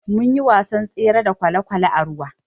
Munyi wasan tsere da kwalekwale a ruwa.